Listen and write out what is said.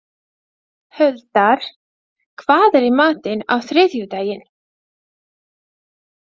Huldar, hvað er í matinn á þriðjudaginn?